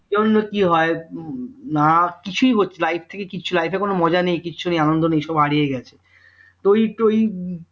জন্য কি হয় না কি হয় কিছুই হচ্ছে life থেকে কিছুই life এ কোনো মজা নেই আনন্দ নেই সব হারিয়ে গেছে তো ওই তো